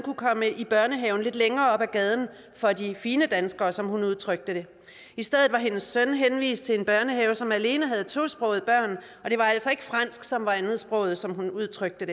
i børnehaven lidt længere op ad gaden for de fine danskere som hun udtrykte det i stedet var hendes søn henvist til en børnehave som alene havde tosprogede børn og det var altså ikke fransk som var andetsproget som hun udtrykte